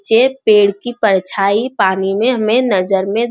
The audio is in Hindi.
जे पेड़ की परछायी पानी में हमें नजर में --